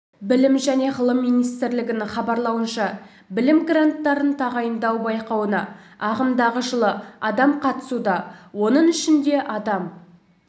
білім және ғылым министрлігінің хабарлауынша білім гранттарын тағайындау байқауына ағымдағы жылы адам қатысуда оның ішінде адам